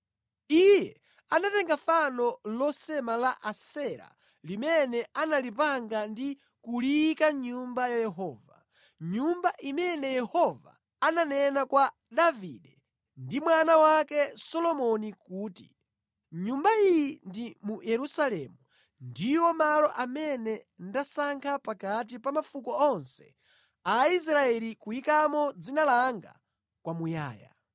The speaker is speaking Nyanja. Iye anatenga fano losema la Asera limene analipanga ndi kuliyika mʼNyumba ya Yehova, Nyumba imene Yehova ananena kwa Davide ndi mwana wake Solomoni kuti, “Mʼnyumba iyi ndi mu Yerusalemu ndiwo malo amene ndasankha pakati pa mafuko onse a Aisraeli kuyikamo Dzina langa kwamuyaya.